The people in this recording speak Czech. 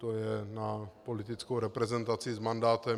To je na politickou reprezentaci s mandátem.